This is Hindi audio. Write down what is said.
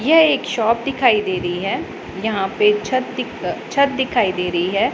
यह एक शॉप दिखाई दे रही है यहां पे छत दिक अ छत दिखाई दे रही है।